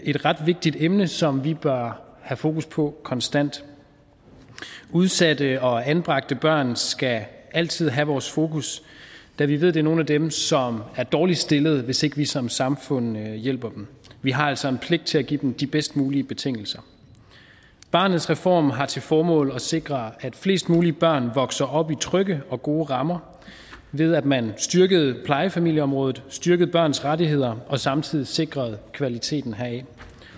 et ret vigtigt emne som vi bør have fokus på konstant udsatte og anbragte børn skal altid have vores fokus da vi ved at det er nogle af dem som er dårligst stillede hvis ikke vi som samfund hjælper dem vi har altså en pligt til at give dem bedst mulige betingelser barnets reform har til formål at sikre at flest mulige børn vokser op i trygge og gode rammer ved at man har styrket plejefamilieområdet styrket børns rettigheder og samtidig sikret kvaliteten heraf